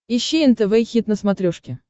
ищи нтв хит на смотрешке